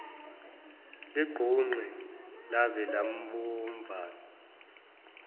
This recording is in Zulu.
ligqunqe laze labomvana